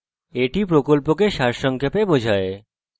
এটি প্রকল্পকে সংক্ষেপে বিবরণ করে